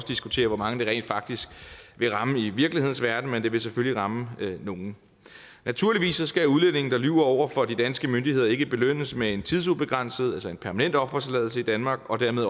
diskutere hvor mange det rent faktisk vil ramme i virkelighedens verden men det vil selvfølgelig ramme nogle naturligvis skal udlændinge der lyver over for de danske myndigheder ikke belønnes med en tidsubegrænset altså en permanent opholdstilladelse i danmark og dermed